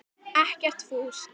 Ekkert fúsk.